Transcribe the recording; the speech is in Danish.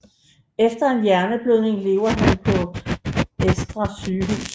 Efter en hjerneblødning lever han på Ersta sygehus